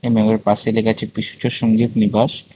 লেখা আছে পিসুচ সঞ্জিত নিবাস।